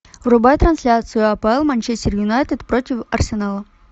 врубай трансляцию апл манчестер юнайтед против арсенала